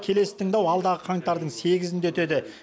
келесі тыңдау алдағы қаңтардың сегізінде өтеді